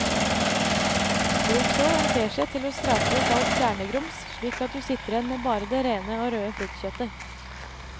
Bruk så en teskje til å skrape ut alt kjernegrums slik at du sitter igjen med bare det rene og røde fruktkjøttet.